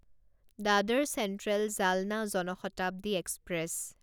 Dadar central Jalna Jan Shatabdi express